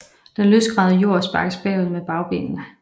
Den løsgravede jord sparkes bagud med bagbenene